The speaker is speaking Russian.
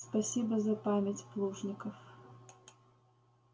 спасибо за память плужников